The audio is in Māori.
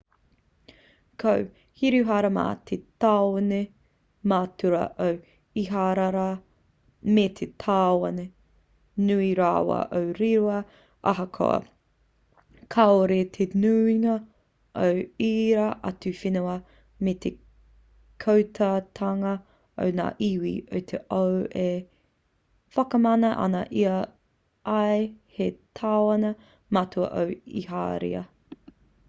ko hiruharama te tāone matua o iharaira me te tāone nui rawa o reira ahakoa kāore te nuinga o ērā atu whenua me te kotahitanga o ngā iwi o te ao e whakamana ana i a ia hei tāone matua o iharaira